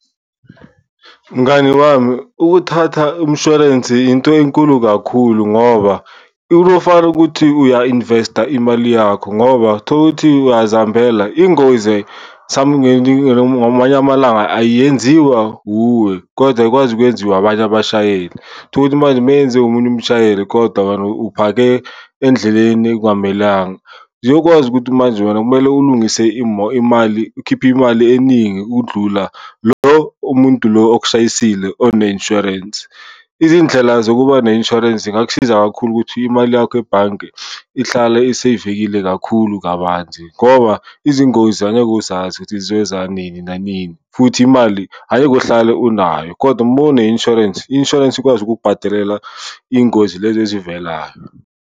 Mngani wami, ukuthatha umshwalensi into enkulu kakhulu ngoba uzofana ukuthi uya-investa imali yakho ngoba thola ukuthi uyazihambela ingozi ngamanye amalanga ayenziwa wuwe kodwa ikwazi ukwenziwa abanye abashayeli. Uthole ukuthi manje uma yenziwa omunye umshayeli kodwa wena uphake endleleni ekungamelanga. Ngeke ukwazi ukuthi manje wena kumele ulungise imali, ukhiphe imali eningi ukudlula lo umuntu lo okushayisile one-insurance. Izindlela zokuba ne-insurance zingakusiza kakhulu ukuthi imali yakho ebhanke ihlale iseyivekile kakhulu kabanzi ngoba izingozi angeke uzazi ukuthi zizoza nini nanini futhi imali angeke uhlale unayo kodwa uma une-insurance, i-insurance ikwazi ukukubhatalela iy'ngozi lezi ezivelayo.